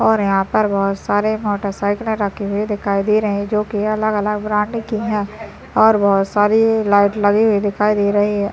और यहाँ पर बहुत सारे मोटरसाइकिल रखे हुए दिखाई दे रहे है जो की अलग अलग ब्रांड के हैं और बहुत सारे लाइट लगे हुए दिखाई दे रहे है।